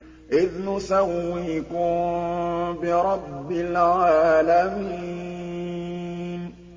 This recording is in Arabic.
إِذْ نُسَوِّيكُم بِرَبِّ الْعَالَمِينَ